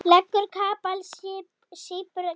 Leggur kapal, sýpur kaffið.